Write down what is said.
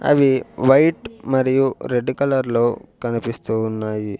అవి వైట్ మరియు రెడ్డు కలర్లో కనిపిస్తూ ఉన్నాయి.